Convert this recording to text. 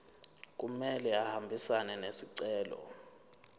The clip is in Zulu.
kumele ahambisane nesicelo